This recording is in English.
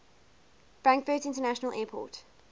frankfurt international airport